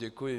Děkuji.